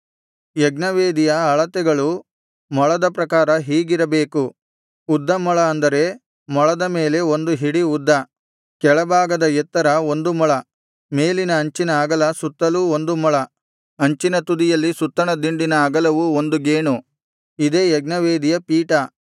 ಯಜ್ಞವೇದಿಯ ಅಳತೆಗಳು ಮೊಳದ ಪ್ರಕಾರ ಹೀಗಿರಬೇಕು ಉದ್ದ ಮೊಳ ಅಂದರೆ ಮೊಳದ ಮೇಲೆ ಒಂದು ಹಿಡಿ ಉದ್ದ ಕೆಳಭಾಗದ ಎತ್ತರ ಒಂದು ಮೊಳ ಮೇಲಿನ ಅಂಚಿನ ಅಗಲ ಸುತ್ತಲೂ ಒಂದು ಮೊಳ ಅಂಚಿನ ತುದಿಯಲ್ಲಿ ಸುತ್ತಣ ದಿಂಡಿನ ಅಗಲವು ಒಂದು ಗೇಣು ಇದೇ ಯಜ್ಞವೇದಿಯ ಪೀಠ